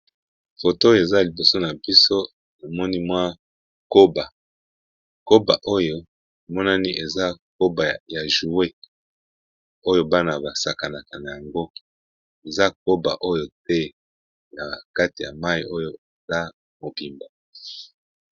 foto eza liboso na biso amoni mwa koba koba oyo monani eza koba ya joue oyo bana basakanaka na yango eza koba oyo te na kati ya mai oyo eza mobimbo